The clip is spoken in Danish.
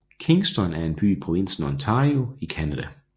Kingston er en by i provinsen Ontario i Canada